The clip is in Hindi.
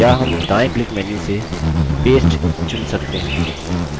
या हम दायें click menu से paste चुन सकते हैं